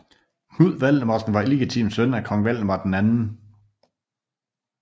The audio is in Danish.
Knud Valdemarsen var illegitim søn af kong Valdemar 2